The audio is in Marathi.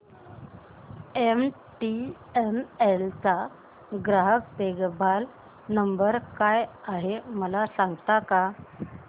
एमटीएनएल चा ग्राहक देखभाल नंबर काय आहे मला सांगता का